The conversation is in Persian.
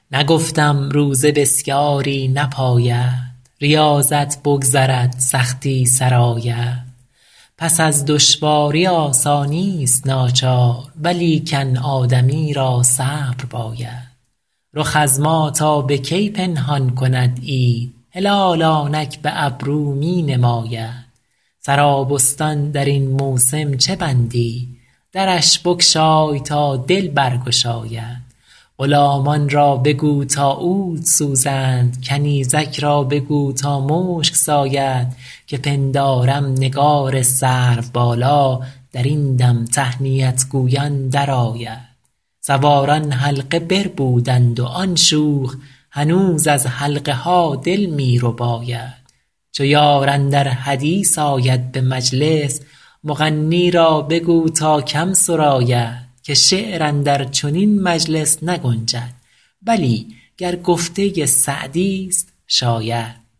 نگفتم روزه بسیاری نپاید ریاضت بگذرد سختی سر آید پس از دشواری آسانیست ناچار ولیکن آدمی را صبر باید رخ از ما تا به کی پنهان کند عید هلال آنک به ابرو می نماید سرابستان در این موسم چه بندی درش بگشای تا دل برگشاید غلامان را بگو تا عود سوزند کنیزک را بگو تا مشک ساید که پندارم نگار سروبالا در این دم تهنیت گویان درآید سواران حلقه بربودند و آن شوخ هنوز از حلقه ها دل می رباید چو یار اندر حدیث آید به مجلس مغنی را بگو تا کم سراید که شعر اندر چنین مجلس نگنجد بلی گر گفته سعدیست شاید